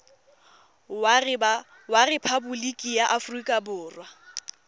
wa rephaboliki ya aforika borwa